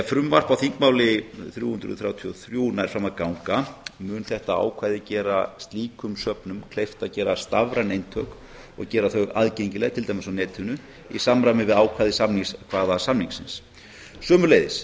frumvarp númer þrjú hundruð þrjátíu og þrjú nær fram að ganga mun þetta ákvæði gera slíkum söfnum kleift að gera stafræn eintök og gera þau aðgengileg til dæmis á netinu í samræmi við ákvæði samningskvaðasamningsins sömuleiðis